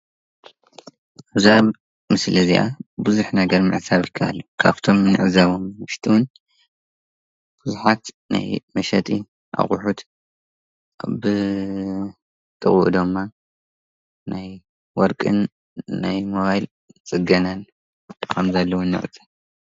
እዛ ምስሊ እዚኣ ብዙሕ ነገር ምዕዛብ ይከኣል እዩ ።ካፍቶም ንዕዘቦም ውሽጢ እውን ብዙሓት ናይ መሸጥን ኣቁሑት ብጥቅኡ ድማ ናይ ወርቅን ናይ ሞባይል ፅገናን ከም ዘለው ንዕዘብ።